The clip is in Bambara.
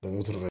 u tora